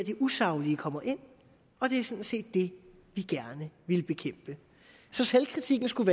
usaglige kommer ind og det er sådan set det vi gerne vil bekæmpe så selvkritikken skulle